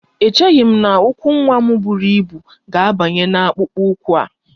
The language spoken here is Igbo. Echeghị m na ụkwụ nwa m buru ibu ga-abanye n'akpụkpọ ụkwụ a